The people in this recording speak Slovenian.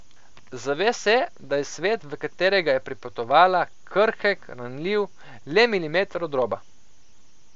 Zave se, da je svet, v katerega je pripotovala, krhek, ranljiv, le Milimeter od roba.